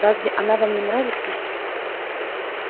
разве она вам не нравится